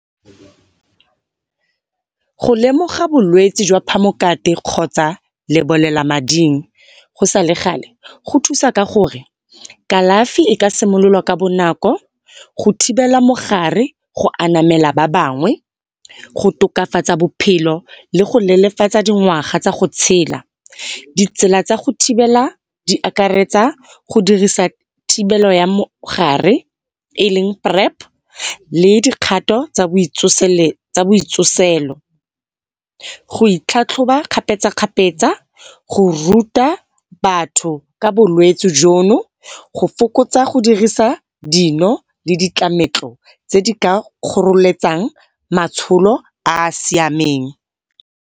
Go lemoga bolwetsi jwa phamokate kgotsa lebolelamading go sale gale go thusa ka gore kalafi e ka simololwa ka bonako go thibela mogare go anamela ba bangwe, go tokafatsa bophelo le go leelefatsa dingwaga tsa go tshela. Di tsela tsa go thibela di akaretsa go dirisa thibelo ya mogare e leng PrEP le dikgato tsa bo tsoselo, go itlhatlhoba kgapetsa-kgapetsa, go ruta batho ka bolwetsi jono, go fokotsa go dirisa dino le ditlametlo tse di ka kgoreletsang matsholo a siameng.